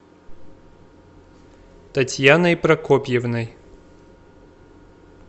татьяной прокопьевной